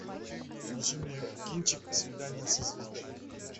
включи мне кинчик свидание со звездой